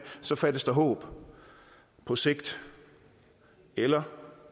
fattes der håb på sigt eller